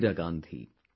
Indira Gandhi